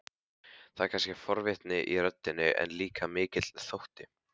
Það er kannski forvitni í röddinni, en líka mikill þótti.